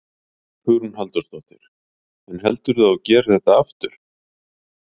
Hugrún Halldórsdóttir: En heldurðu að þú gerir þetta aftur?